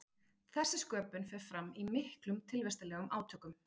þessi sköpun fer fram í miklum tilvistarlegum átökum